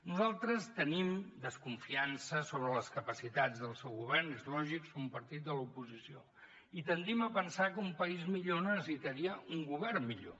nosaltres tenim desconfiança sobre les capacitats del seu govern és lògic som un partit de l’oposició i tendim a pensar que un país millor necessitaria un govern millor